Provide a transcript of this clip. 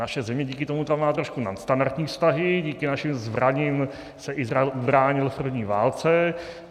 Naše země díky tomu tam má trošku nadstandardní vztahy, díky našim zbraním se Izrael ubránil v první válce.